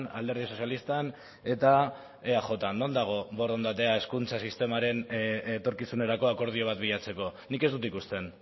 alderdi sozialistan eta eajn non dago borondatea hezkuntza sistemaren etorkizunerako akordio bat bilatzeko nik ez dut ikusten